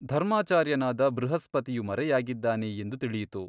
ಧರ್ಮಾಚಾರ್ಯನಾದ ಬೃಹಸ್ಪತಿಯು ಮರೆಯಾಗಿದ್ದಾನೆ ಎಂದು ತಿಳಿಯಿತು.